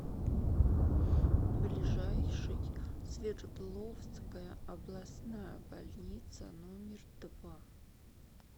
ближайший свердловская областная больница номер два